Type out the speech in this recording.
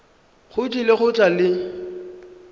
o tlile go tla le